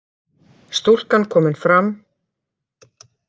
Stúlkan komin fram